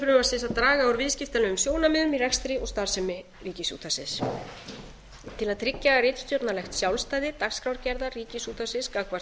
markmiðum frumvarpsins að draga úr viðskiptalegum sjónarmiðum í rekstri og starfsemi ríkisútvarpsins til að tryggja ritstjórnarlegt sjálfstæði dagskrárgerðar ríkisútvarpsins gagnvart